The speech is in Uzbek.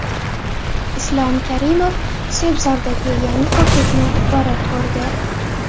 Islom Karimov Sebzordagi yangi ko‘prikni borib ko‘rdi .